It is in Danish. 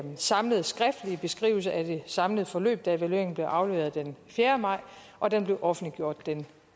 samlede skriftlige beskrivelse af det samlede forløb da evalueringen blev afleveret den fjerde maj og den blev offentliggjort den